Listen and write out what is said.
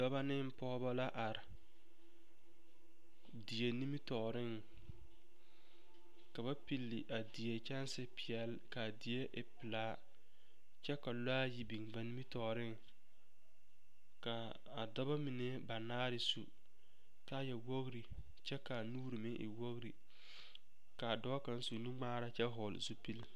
Dɔbɔ ne pɔgeba are die nimitɔɔreŋ ka ba pili a die kyɛnsepeɛle ka a die e pelaa kyɛ ka lɔɛ ayi biŋ ba nimitɔɔreŋ ka a dɔbɔ mine banaare su kaaya wogri kyɛ ka a nuuri meŋ wogri ka a dɔɔ kaŋ su nuŋmaara kyɛ vɔgle zupili.